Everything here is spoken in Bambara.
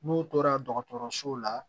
N'u tora dɔgɔtɔrɔso la